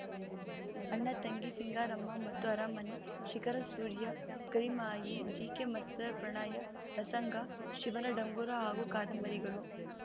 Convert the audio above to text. ಅಣ್ಣತಂಗಿ ಸಿಂಗಾರಮ್ಮ ಮತ್ತು ಅರಮನೆ ಶಿಖರಸೂರ್ಯ ಕರಿಮಾಯಿ ಜಿಕೆಮಾಸ್ತರ ಪ್ರಣಯ ಪ್ರಸಂಗ ಶಿವನ ಡಂಗುರ ಹಾಗೂ ಕಾದಂಬರಿಗಳು